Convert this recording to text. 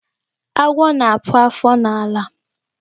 Agwọ́ na-akpụ afọ n'ala.